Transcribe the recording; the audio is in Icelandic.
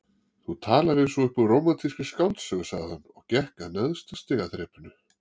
Þú talar eins og upp úr rómantískri skáldsögu sagði hann og gekk að neðsta stigaþrepinu.